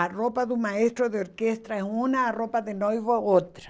A roupa do maestro de orquestra é uma, a roupa de noivo é outra.